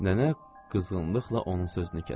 Nənə qızğınlıqla onun sözünü kəsdi.